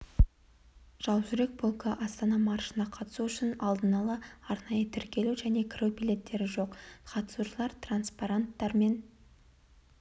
жаужүрек полкі астана маршына қатысу үшін алдын ала арнайы тіркелу және кіру билеттері жоқ қатысушылар транспаранттармен